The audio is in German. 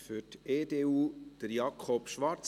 Für die EDU spricht Jakob Schwarz.